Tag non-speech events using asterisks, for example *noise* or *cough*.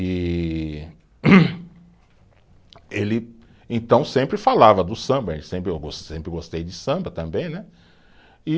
E *coughs* ele então sempre falava do samba, eu sempre eu gos, sempre gostei de samba também, né? E